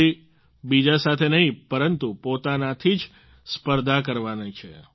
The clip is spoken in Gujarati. કોઈ બીજા સાથે નહીં પરંતુ પોતાનાથી જ સ્પર્ધા કરવાની છે